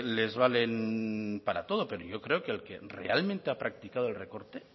les valen para todo pero yo creo que realmente ha practicado el recorte